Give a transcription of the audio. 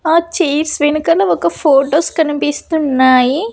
ఆ చైర్స్ వెనకల ఒక ఫొటోస్ కనిపిస్తున్నాయి.